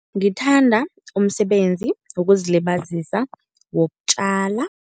Ngithanda umsebenzi wokuzilibazisa wokutjala.